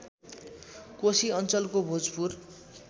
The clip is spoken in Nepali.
कोशी अञ्चलको भोजपुर